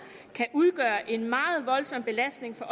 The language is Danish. kan udgøre en meget voldsom belastning for